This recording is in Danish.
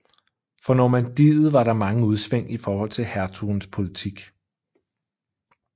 For Normandiet var der mange udsving i forhold til hertugens politik